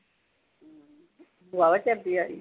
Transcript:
ਵਾਹਵਾ ਚਿਰ ਦੀ ਆਈ ਆ